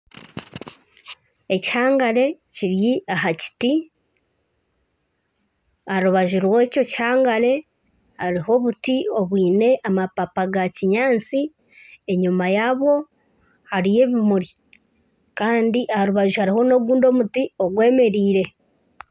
Ekihangare kiri aha kiti aharubaju rwekyo kihangare hariho obuti obwaine amapapa ga kinyatsi enyuma yaabwo hariyo ebimuri Kandi aharubaju hariho nogundi omuti ogwemereire